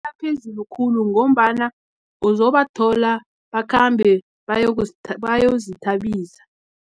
Aphezulu khulu, ngombana uzobathola, bakhambe yozithabisa.